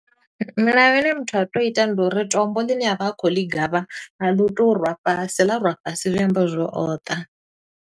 Milayo i ne muthu a to ita ndi uri, tombo ḽine a vha a khou ḽi gavha, a ḽi tei u rwa fhasi, ḽa rwa fhasi zwi amba zwo uri o ṱa.